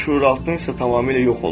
Şüuraltın isə tamamilə yox olub.